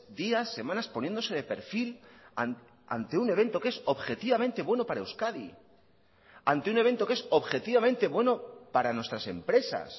días semanas poniéndose de perfil ante un evento que es objetivamente bueno para euskadi ante un evento que es objetivamente bueno para nuestras empresas